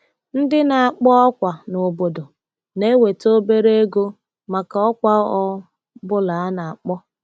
Ndị na-akpọ ọkwa n’obodo na-enweta obere ego maka ọkwa ọ bụla ha na-akpọ.